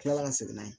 Tila ka segin n'a ye